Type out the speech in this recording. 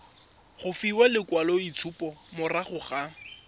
go fiwa lekwaloitshupo morago ga